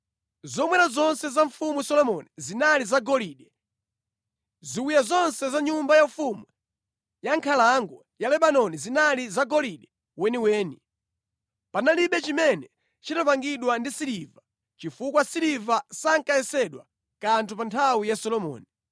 Zomwera zonse za Mfumu Solomoni zinali zagolide, ziwiya zonse za Nyumba Yaufumu ya Nkhalango ya Lebanoni zinali zagolide weniweni. Panalibe chimene chinapangidwa ndi siliva chifukwa siliva sankayesedwa kanthu pa nthawi ya Solomoni.